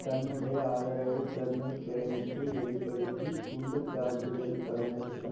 தன்னுடைய ஆதரவை கர்னல் கிளைனுக்கு வெளி படுத்தி குண்டு தாக்குதல் கடந்த சில